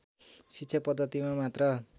शिक्षा पद्धतिमा मात्र